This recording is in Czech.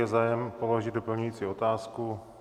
Je zájem položit doplňující otázku?